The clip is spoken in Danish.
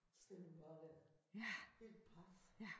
Så står man bare dér helt paf